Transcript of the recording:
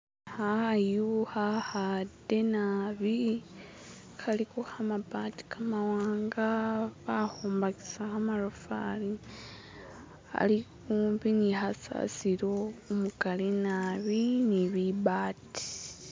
hayu hahade nabi haliho kamabati kamawanga bahumatisa kamarofali hali humpi ni hasasilo umukali naabi nili bibati